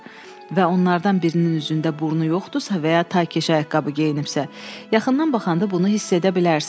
Və onlardan birinin üzündə burnu yoxdusa və ya ta kəşə ayaqqabı geyinibsə, yaxından baxanda bunu hiss edə bilərsiniz.